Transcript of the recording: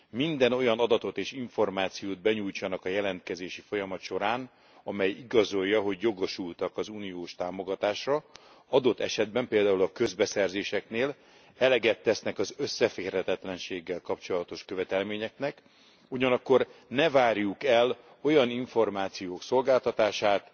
minden olyan adatot és információt benyújtsanak a jelentkezési folyamat során, amely igazolja, hogy jogosultak az uniós támogatásra, adott esetben például a közbeszerzéseknél eleget tesznek az összeférhetetlenséggel kapcsolatos követelményeknek, ugyanakkor ne várjuk el olyan információk szolgáltatását,